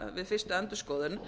við fyrstu endurskoðun